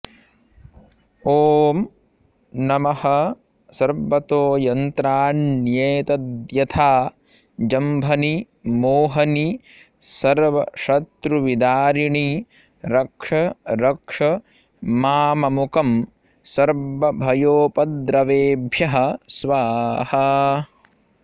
ॐ नमः सर्वतोयन्त्राण्येतद्यथा जम्भनि मोहनि सर्वशत्रुविदारिणि रक्षरक्ष माममुकं सर्वभयोपद्रवेभ्यः स्वाहा